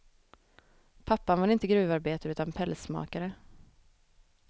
Pappan var inte gruvarbetare utan pälsmakare.